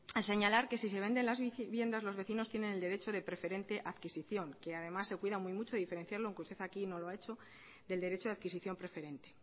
al señalar que si se venden las viviendas los vecinos tienen el derecho de preferente adquisición que además se cuida muy mucho diferenciarlo aunque usted aquí no lo ha hecho del derecho de adquisición preferente